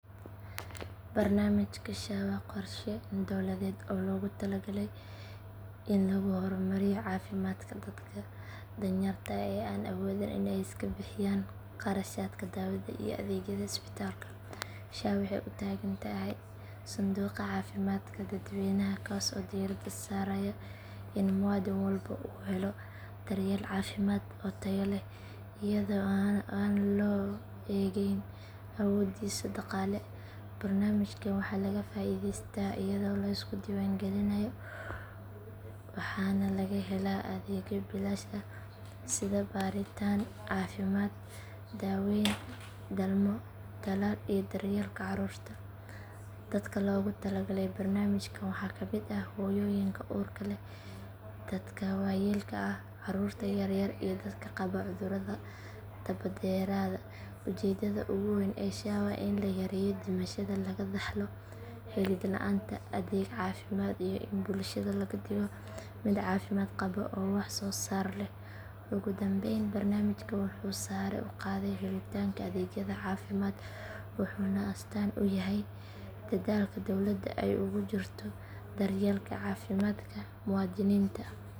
Barnaamijka SHA waa qorshe dowladeed oo loogu talagalay in lagu horumariyo caafimaadka dadka danyarta ah ee aan awoodin in ay iska bixiyaan kharashaadka daawada iyo adeegyada isbitaalka. SHA waxay u taagan tahay sanduuqa caafimaadka dadweynaha kaas oo diiradda saaraya in muwaadin walba uu helo daryeel caafimaad oo tayo leh iyadoo aan loo eegeyn awooddiisa dhaqaale. Barnaamijkan waxaa laga faa'iidaystaa iyadoo la iska diiwaangelinayo waxaana laga helaa adeegyo bilaash ah sida baaritaan caafimaad, daaweyn, dhalmo, tallaal iyo daryeelka caruurta. Dadka loogu talagalay barnaamijkan waxaa ka mid ah hooyooyinka uurka leh, dadka waayeelka ah, caruurta yaryar iyo dadka qaba cudurrada daba dheeraada. Ujeedada ugu weyn ee SHA waa in la yareeyo dhimashada laga dhaxlo helid la'aanta adeeg caafimaad iyo in bulshada laga dhigo mid caafimaad qaba oo wax soo saar leh. Ugu dambayn barnaamijkan wuxuu sare u qaaday helitaanka adeegyada caafimaad wuxuuna astaan u yahay dadaalka dowladda ay ugu jirto daryeelka caafimaadka muwaadiniinta.